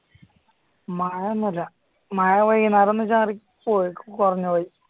മയ ഒന്നുമില്ല മയ വൈകുന്നേരം ഒന്ന് ചാറി പോയി ഇപ്പൊ കുറഞ്ഞു പോയി